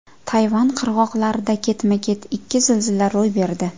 Tayvan qirg‘oqlarida ketma-ket ikki zilzila ro‘y berdi.